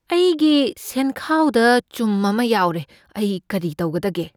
ꯑꯩꯒꯤ ꯁꯦꯟꯈꯥꯎꯗ ꯆꯨꯝ ꯑꯃ ꯌꯥꯎꯔꯦ꯫ ꯑꯩ ꯀꯔꯤ ꯇꯧꯒꯗꯒꯦ?